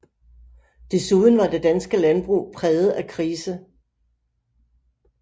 Desuden var det danske landbrug præget af krise